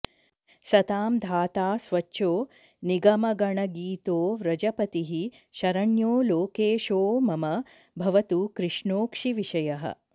सतां धाता स्वच्छो निगमगणगीतो व्रजपतिः शरण्यो लोकेशो मम भवतु कृष्णोऽक्षिविषयः